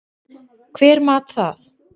Hver mat það?